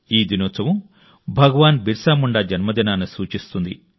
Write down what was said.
ఈ దినోత్సవం భగవాన్ బిర్సా ముండా జన్మదినాన్ని సూచిస్తుంది